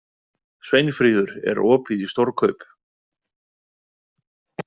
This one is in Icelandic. Sveinfríður, er opið í Stórkaup?